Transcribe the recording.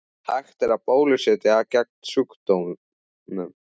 Hægt er að bólusetja gegn sjúkdómnum.